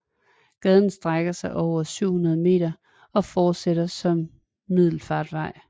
Gaden strækker sig over 700 m og fortsætter som Middelfartvej